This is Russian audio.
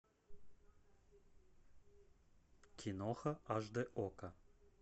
киноха аш дэ окко